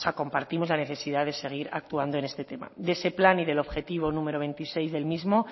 compartimos la necesidad de seguir actuando en este tema de ese plan y del objetivo número veintiséis del mismo